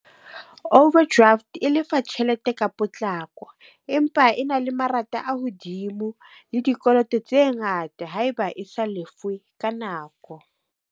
Overdraft e lefa tjhelete ka potlako. Empa e na le marata a hodimo le dikoloto tse ngata haeba e sa lefwe ka nako.